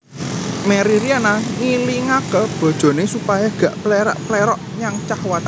Merry Riana ngilingake bojone supaya gak plerak plerok nyang cah wadon